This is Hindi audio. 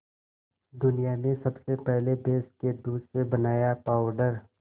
दुनिया में सबसे पहले भैंस के दूध से बनाया पावडर